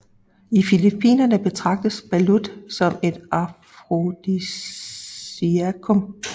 I Filippinerne betragtes balut som et afrodisiakum